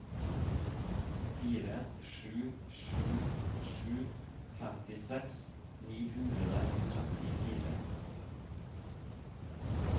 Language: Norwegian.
fire sju sju sju femtiseks ni hundre og trettifire